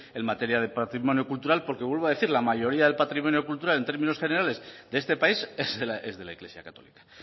en materia de patrimonio cultural porque vuelvo a decir la mayoría del patrimonio cultural en términos generales de este país es de la iglesia católica